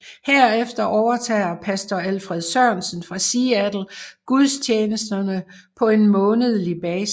Herefter overtager Pastor Alfred Sørensen fra Seattle gudstjenesterne på en månedlig basis